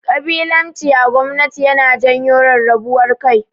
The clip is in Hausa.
Ƙabilanci a gwamanti yana janyo rarrabuwar kai.